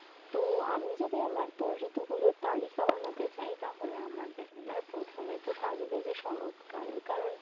তো আমি যদি আমারতো ঋতু গুলোর তালিকা বানাতে চাই তাহলে আমার দেখো আমার প্রথমেতো থাকবে শরত কাল